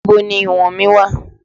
Ibo ni ìwọ̀n mí wà?